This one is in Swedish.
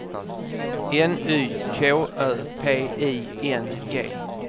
N Y K Ö P I N G